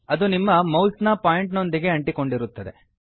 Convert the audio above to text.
ಅದು ನಿಮ್ಮ ಮೌಸ್ ನ ಪಾಯಿಂಟರ್ ನೊಂದಿಗೆ ಅಂಟಿಕೊಂಡಿರುತ್ತದೆ